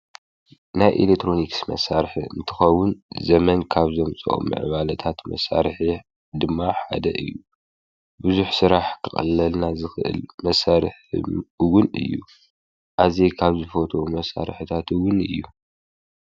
ናይ ኤሌክትሮኒክስ ኣቃሓ እንትኸውን ዘበን ካብ ዘፍረዮም ኮይኑ ዋይፍይ ራውተር ይበሃል። ኢንተርኔት ክንጥቀም ይገብር።